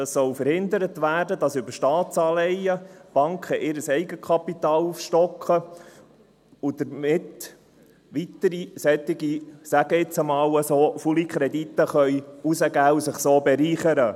Es soll verhindert werden, dass Banken über Staatsanleihen ihr Eigenkapital aufstocken und damit weitere solche faule Kredite – ich sage dem jetzt einmal so – herausgeben und sich so bereichern können.